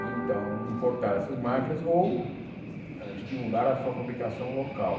Então, importar essas máquinas ou eh estimular a sua fabricação local.